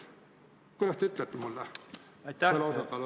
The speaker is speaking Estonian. Kuidas te mulle vastate?